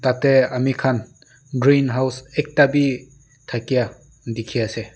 tey amikhan greenhouse ekta bi thakia dikhi ase.